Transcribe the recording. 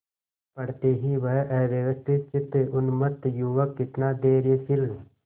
पड़ते ही वह अव्यवस्थितचित्त उन्मत्त युवक कितना धैर्यशील